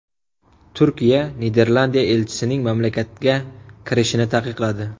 Turkiya Niderlandiya elchisining mamlakatga kirishini taqiqladi .